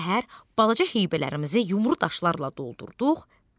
Səhər balaca heybələrimizi yumuru daşlarla doldurduq.